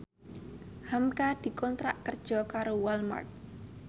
hamka dikontrak kerja karo Walmart